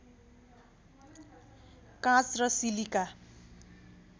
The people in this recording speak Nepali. काँच र सिलिका